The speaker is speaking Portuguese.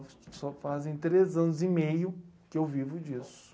Só fazem três anos e meio que eu vivo disso.